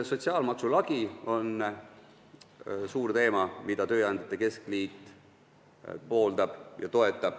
Sotsiaalmaksu lagi on suur teema, mida tööandjate keskliit pooldab ja toetab.